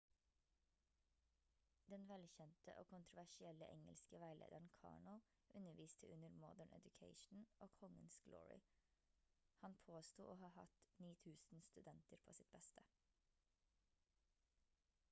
den velkjente og kontroversielle engelske veilederen karno underviste under modern education og kongens glory han påsto å ha hatt 9000 studenter på sitt beste